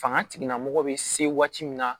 Fanga tigilamɔgɔ bɛ se waati min na